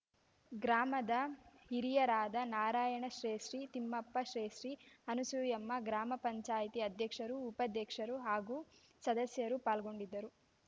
ಗ್ರಾಮದ ಹಿರಿಯರಾದ ನಾರಾಯಣಶ್ರೇಷ್ಠಿ ತಿಮ್ಮಪ್ಪ ಶ್ರೇಷ್ಠಿ ಅನುಸೂಯಮ್ಮ ಗ್ರಾಮ ಪಂಚಾಯತಿ ಅಧ್ಯಕ್ಷರು ಉಪಾಧ್ಯಕ್ಷರು ಹಾಗೂ ಸದಸ್ಯರು ಪಾಲ್ಗೊಂಡಿದ್ದರು